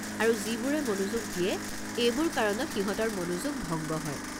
আৰু যিবোৰে মনোযোগ দিয়ে এইবোৰ কাৰণত সিহঁতৰ মনোযোগ ভংগ হয়।